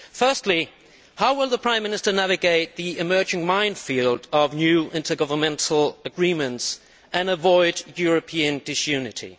Firstly, how will the Prime Minister navigate the emerging minefield of new intergovernmental agreements and avoid European disunity?